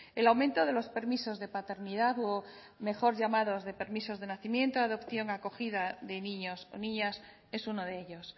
el aumento de los permisos de paternidad o mejor llamados de permisos de nacimiento adopción acogida de niños o niñas es uno de ellos